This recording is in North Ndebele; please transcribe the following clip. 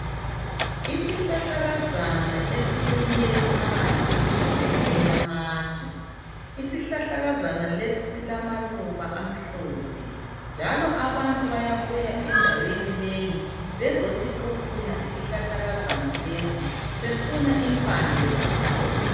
Isihlahlakazana esimile phakathi kwendawo elamatshe isihlahlakazana lesi esilamaluba amhlophe njalo abantu bayabuya endaweni leyi bezosiquphuna isihlahlakazana lesi befuna impande zaso.